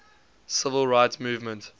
civil rights movement